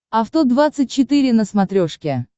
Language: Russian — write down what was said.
авто двадцать четыре на смотрешке